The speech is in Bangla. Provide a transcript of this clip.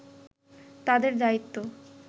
তাদের দায়িত্ব